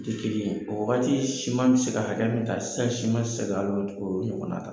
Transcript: U te kelen ye. O wagati siman be se ka hakɛ min ta sisan siman tese ka hali o ɲɔgɔn ta.